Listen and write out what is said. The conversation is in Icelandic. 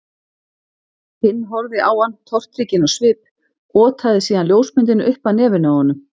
Hinn horfði á hann tortrygginn á svip, otaði síðan ljósmyndinni upp að nefinu á honum.